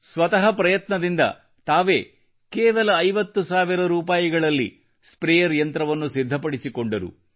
ಸ್ವತಃ ಪ್ರಯತ್ನದಿಂದ ತಾವೇ ಕೇವಲ 50 ಸಾವಿರ ರೂಪಾಯಿಯಲ್ಲಿ ಸ್ಪ್ರೇಯರ್ ಯಂತ್ರವನ್ನು ಸಿದ್ಧಪಡಿಸಿಕೊಂಡರು